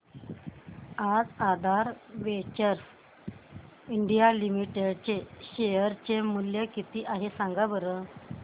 आज Aadhaar ventures India limited चे share चे मूल्य किती आहे सांगा बरं